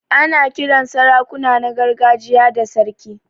Ana Kiran sarakuna na gargajiya da sarki.